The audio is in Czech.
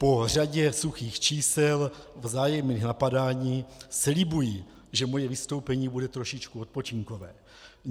Po řadě suchých čísel, vzájemných napadání slibuji, že moje vystoupení bude trošičku odpočinkové.